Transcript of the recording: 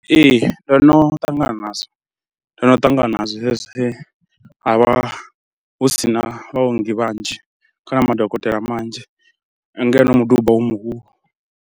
Ee ndo no ṱangana nazwo, ndo no ṱangana nazwo zwine ha vha hu si na vhaongi vhanzhi kana madokotela manzhi ngeno muduba u muhulu.